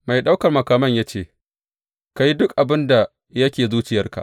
Mai ɗaukan makaman ya ce, Ka yi duk abin da yake zuciyarka.